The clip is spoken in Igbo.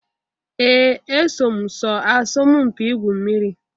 Ee! Eso m sọọ asọmụ mpị ịgwụ mmiri.